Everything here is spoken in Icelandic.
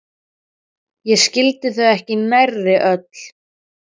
Ég skildi þau ekki nærri öll.